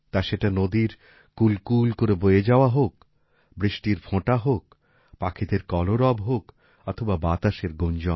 তা সেটা নদীর কূলকুল করে বয়ে যাওয়া হোক বৃষ্টির ফোঁটা হোক পাখিদের কলরব হোক অথবা বাতাসের গুঞ্জন